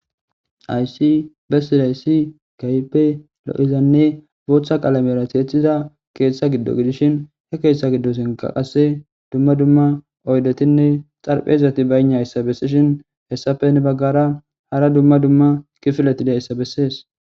aysi bessidayssi gaype lo7izanne bootha qalamera teethida keeththa giddo gidishin he keeshtha giddo senka qasse dumma dumma oydetinne xarphezati bayna yssa bessishin hessafe ne baggara hara dumma dumma kifilati deyssa bessees